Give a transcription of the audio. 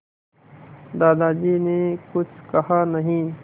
दादाजी ने कुछ कहा नहीं